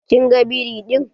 Kin ga biri ɗin?